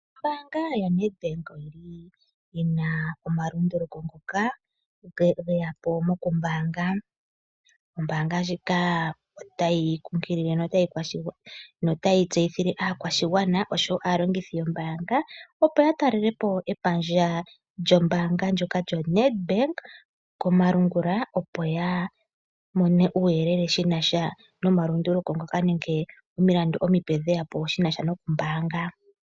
Ombaanga yoNedbank oyina omalunduluko ngoka geyapo mokumbaanga. Ombaanga ndjika otayi kunkilile notayi tseyithile aakwashigwana oshowo aalongithi yombaanga, opo yatalelepo epandja lyombaanga lyoka lyoNedbank komalungula, opo yamone uuyelele shinasha nomalunduluko nomilandu omipe dheyapo shinasha nokumbaanga.